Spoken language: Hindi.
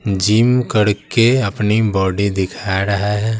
जिम करके अपनी बॉडी दिखा रहा है।